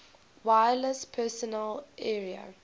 wireless personal area